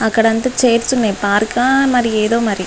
అక్కడంత chairs ఉన్నాయ్ పార్కా ఆ మరి ఎదో మరి.